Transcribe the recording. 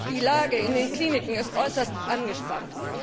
Die Lage in den Kliniken ist äußerst angespannt.